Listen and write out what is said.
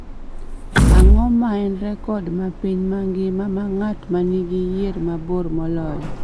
Ang�o ma en rekod ma piny mangima ma ng�at ma nigi yier mabor moloyo?